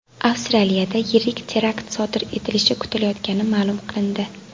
Avstraliyada yirik terakt sodir etilishi kutilayotgani ma’lum qilindi .